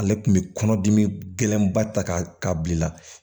Ale tun bɛ kɔnɔ dimi gɛlɛnba ta k'a bila